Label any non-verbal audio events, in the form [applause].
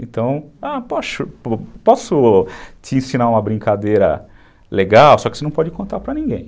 Então, a, [unintelligible] posso te ensinar uma brincadeira legal, só que você não pode contar para ninguém.